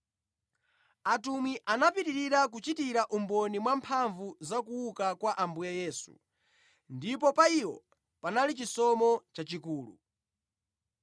Atumwi anapitirira kuchitira umboni mwa mphamvu zakuuka kwa Ambuye Yesu, ndipo pa iwo panali chisomo chochuluka.